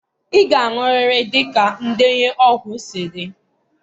ị ga-aṅụrịrị dịka ndenye ọgwụ si dị.